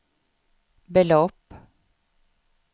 belopp